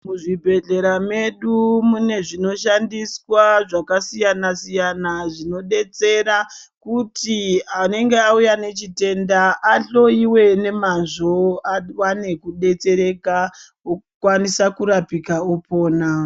Muzvibhedhlera medu mune zvinoshandiswa zvakasiyana siyana zvinodetsera kuti anenga auya nechitenda ahloyiwe nemazvo akwane kudetsereka okwanisa kurapika opona.